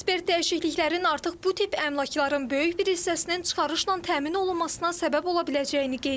Ekspert dəyişikliklərin artıq bu tip əmlakların böyük bir hissəsinin çıxarışla təmin olunmasına səbəb ola biləcəyini qeyd edir.